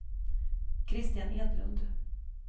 Kristian Edlund